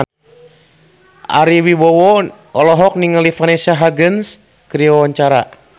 Ari Wibowo olohok ningali Vanessa Hudgens keur diwawancara